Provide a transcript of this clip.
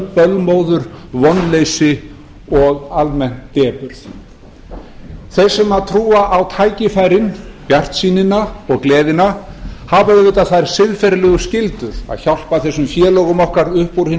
bölmóður vonleysi og almenn depurð þeir sem trúa á tækifærin bjartsýnina og gleðina hafa auðvitað þær siðferðilegu skyldur að hjálpa þessum félögum okkar upp úr hinum